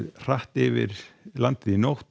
hratt yfir landið í nótt